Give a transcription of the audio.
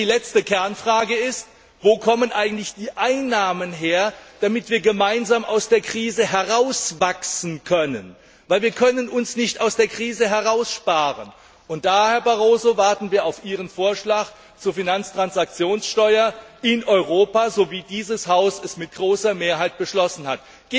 Die letzte Kernfrage lautet Wo kommen eigentlich die Einnahmen her, damit wir gemeinsam aus der Krise herauswachsen können? Denn wir können uns nicht aus der Krise heraussparen. Da, Herr Barroso, warten wir auf Ihren Vorschlag zur Finanztransaktionssteuer in Europa, so wie dieses Haus dies mit großer Mehrheit beschlossen hat.